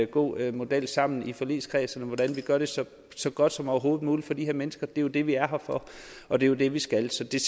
god model sammen i forligskredsen for hvordan vi gør det så så godt som overhovedet muligt for de her mennesker det er jo det vi er her for og det er jo det vi skal så det